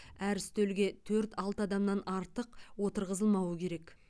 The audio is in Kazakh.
әр үстелге төрт алты адамнан артық отырғызылмауы керек